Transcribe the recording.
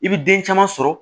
I bi den caman sɔrɔ